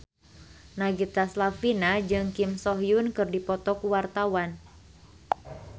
Nagita Slavina jeung Kim So Hyun keur dipoto ku wartawan